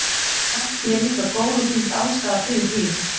Kannski er líka góð og gild ástæða fyrir því.